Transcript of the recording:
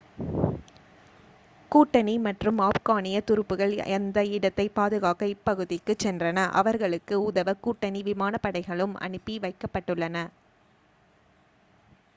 கூட்டணி மற்றும் ஆப்கானிய துருப்புக்கள் அந்த இடத்தைப் பாதுகாக்க இப்பகுதிக்குச் சென்றன அவர்களுக்கு உதவ கூட்டணி விமான படைகளும் அனுப்பி வைக்கபட்டுள்ளன